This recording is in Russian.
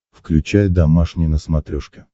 включай домашний на смотрешке